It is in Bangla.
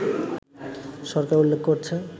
সরকার উল্লেখ করছে